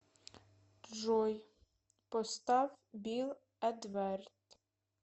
джой поставь бил эдвард